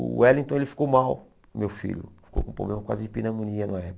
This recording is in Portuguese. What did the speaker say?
O Wellington ele ficou mal, meu filho, ficou com um problema quase de pneumonia na época.